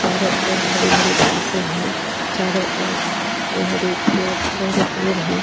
चारों ओर हरि-हरि घासे है चारों ओर हरि-हरि पेड़ हरे-हरे पेड़ हैं।